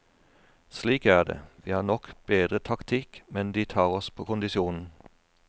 Slik er det, vi har nok bedre taktikk, men de tar oss på kondisjonen.